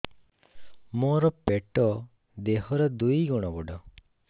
ମୋର ପେଟ ଦେହ ର ଦୁଇ ଗୁଣ ବଡ